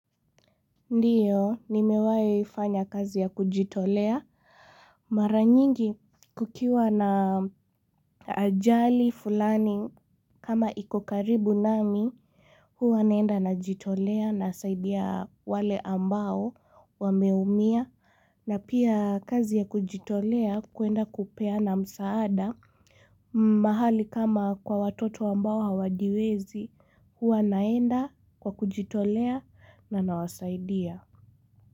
Ndio, nimewahi fanya kazi ya kujitolea. Mara nyingi, kukiwa na ajali fulani kama iko karibu nami, huwa naenda najitolea nasaidia wale ambao wameumia. Na pia kazi ya kujitolea kwenda kupeana msaada. Mahali kama kwa watoto ambao hawajiwezi, huwa naenda kwa kujitolea na nawasaidia.